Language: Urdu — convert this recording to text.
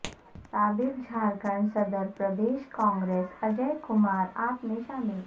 سابق جھارکھنڈ صدر پردیش کانگریس اجوئے کمار عاپ میں شامل